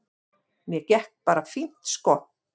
Mér gekk bara fínt sko.